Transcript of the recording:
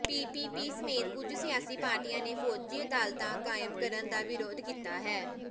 PPP ਸਮੇਤ ਕੁਝ ਸਿਆਸੀ ਪਾਰਟੀਆਂ ਨੇ ਫੌਜੀ ਅਦਾਲਤਾਂ ਕਾਇਮ ਕਰਨ ਦਾ ਵਿਰੋਧ ਕੀਤਾ ਹੈ